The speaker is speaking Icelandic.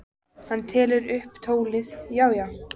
Hann tekur upp tólið: Já, já.